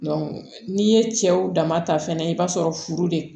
n'i ye cɛw dama ta fɛnɛ i b'a sɔrɔ furu de